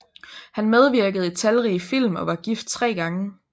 Han medvirkede i talrige film og var gift tre gange